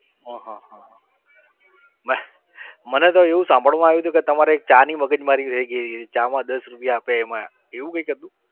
હા હા હા મને તો એવું સાંભળવામાં આવ્યું હતું કે તમારે એક ચાની મગજમારી થઇ ગઈ હતી ચામાં દસ રૂપિયા આપ્યા એમાં એવું કઇક હતું?